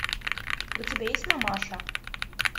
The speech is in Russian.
у тебя есть мамаша